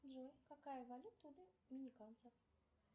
джой какая валюта у доминиканцев